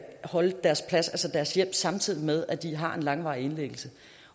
holde deres plads altså deres hjem samtidig med at de har en langvarig indlæggelse